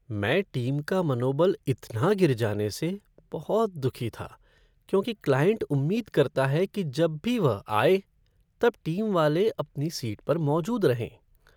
मैं टीम का मनोबल इतना गिर जाने से बहुत दुखी था क्योंकि क्लाइंट उम्मीद करता है कि जब भी वह आए तब टीम वाले अपनी सीट पर मौजूद रहें।